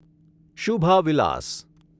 શુભા વિલાસ